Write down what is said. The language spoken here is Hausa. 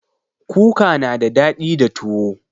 Kuka na da daɗi da tuwo